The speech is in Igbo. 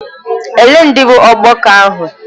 Ole ndị bụ ọgbakọ ahụ?